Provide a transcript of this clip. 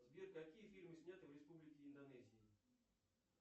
сбер какие фильмы сняты в республике индонезии